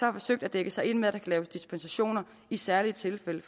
har forsøgt at dække sig ind med at laves dispensationer i særlige tilfælde